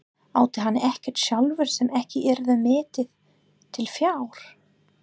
Átti hann ekkert sjálfur sem ekki yrði metið til fjár?